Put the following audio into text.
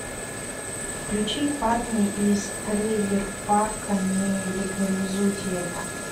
включи парни из трейлер парка не легализуйте это